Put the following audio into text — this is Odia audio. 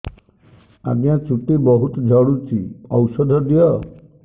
ଆଜ୍ଞା ଚୁଟି ବହୁତ୍ ଝଡୁଚି ଔଷଧ ଦିଅ